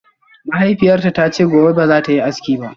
Mahaifiyarta ta ce gobe ba za ta yi aski ba